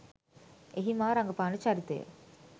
එහි මා රඟපාන චරිතය